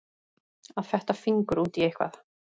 Að fetta fingur út í eitthvað